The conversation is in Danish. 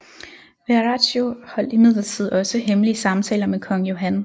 Verraccio holdt imidlertid også hemmelige samtaler med Kong Johan